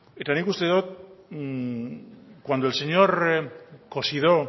eta nik uste dot cuando el señor cosidó